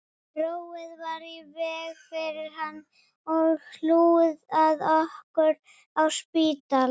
Róið var í veg fyrir hann og hlúð að okkur á spítala